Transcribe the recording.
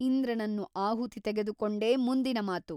ಇಂದ್ರನನ್ನು ಆಹುತಿ ತೆಗೆದುಕೊಂಡೇ ಮುಂದಿನ ಮಾತು.